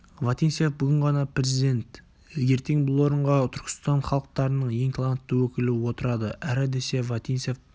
вотинцев бүгін ғана президент ертең бұл орынға түркістан халықтарының ең талантты өкілі отырады әрі десе вотинцев